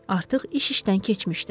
Artıq iş işdən keçmişdi.